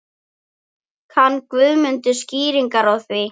Kann Guðmundur skýringar á því?